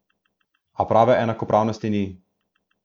A prave enakopravnosti ni.